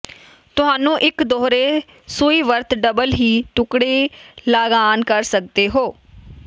ਤੁਹਾਨੂੰ ਇੱਕ ਦੋਹਰੇ ਸੂਈ ਵਰਤ ਡਬਲ ਹੀ ਟੁਕਡ਼ੇ ਲਾੱਗਆਨ ਕਰ ਸਕਦੇ ਹੋ